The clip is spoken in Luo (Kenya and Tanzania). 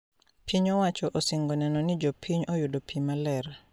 Piny owacho osingo neno ni jopiny oyudo pi maler